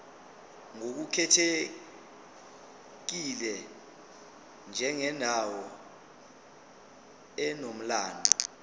ngokukhethekile njengendawo enomlando